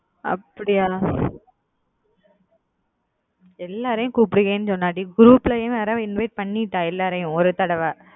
அப்பிடியா எல்லாரையும் கூப்புடுவேனன்னு சொன்னா டி group ளையும் invite பண்ணிட்டா எல்லாரையும் ஒரு தடவ